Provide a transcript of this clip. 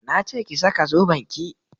Na ce ki saka zoben ki!